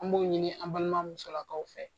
An b'o ɲini an balima musolakaw fɛ.